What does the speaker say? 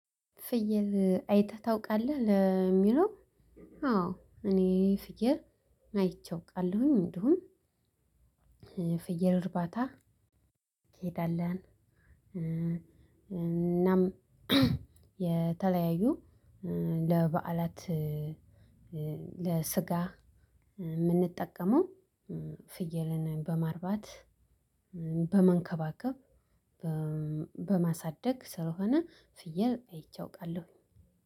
ፍየል አይተህ ታውቃለህ? ለሚለው አዎ! እኔ ፍየል አይቼ አውቃለሁኝ። እንደውም ፍየል እርባታ እንሄዳለን እናም የተለያዩ ለበዓላት ለስጋ የምንጠቀመው ፍየልን በማርባት በመንከባከብ በማሳደግ ስለሆነ ፍየል አይቼ አውቃለሁ።